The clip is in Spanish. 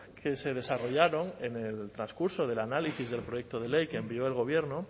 que se desarrollaron en el transcurso del análisis del proyecto de ley que envió el gobierno